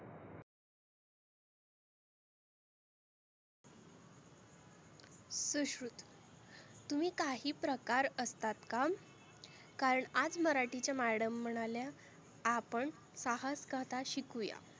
सुश्रुत तुम्ही काही प्रकार असतात का? कारण आज मराठीच्या मॅडम म्हणाल्या आपण सहास कथा शिकवुया.